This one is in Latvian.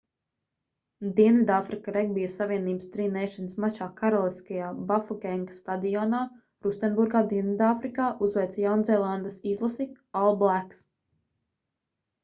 dienvidāfrika regbija savienības tri nations mačā karaliskajā bafokenga stadionā rustenburgā dienvidāfrikā uzveica jaunzēlandes izlasi all blacks